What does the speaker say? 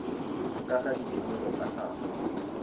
ka ga ditshwanelo tsa gago